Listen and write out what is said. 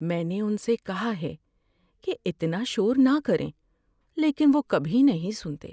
میں نے ان سے کہا ہے کہ اتنا شور نہ کریں، لیکن وہ کبھی نہیں سنتے۔